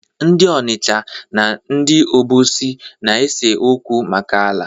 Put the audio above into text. Ndị Ọnịcha na ndị Obosi na-ese okwu maka ala.